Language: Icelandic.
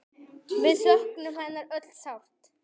Við söknum hennar öll sárt.